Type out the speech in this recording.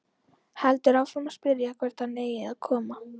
Heldur áfram að spyrja hvert hann eigi að koma.